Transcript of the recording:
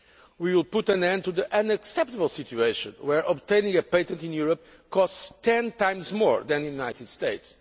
We will put an end to the unacceptable situation where obtaining a patent in Europe costs ten times more than in the United States.